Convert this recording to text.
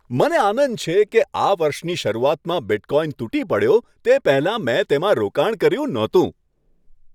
મને આનંદ છે કે આ વર્ષની શરૂઆતમાં બિટકોઈન તૂટી પડ્યો તે પહેલાં મેં તેમાં રોકાણ કર્યું નહોતું .